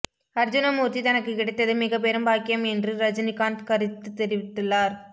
அர்ஜுனமூர்த்தி தனக்கு கிடைத்தது மிகப்பெரும் பாக்கியம் என்று ரஜினிகாந்த் கருத்து தெரிவித்துள்ளார்